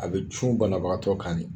A bɛ cun banabagatɔ kan de.